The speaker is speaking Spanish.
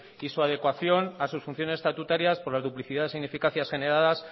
y su adecuación a sus funciones estatutarias por las duplicidades e ineficacias generadas